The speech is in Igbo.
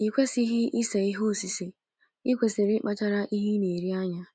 I kwesịghị ise ihe osise, i kwesịrị ịkpachara ihe ị na-eri anya.